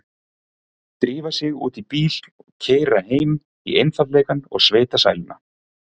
Drífa sig út í bíl og keyra heim í einfaldleikann og sveitasæluna.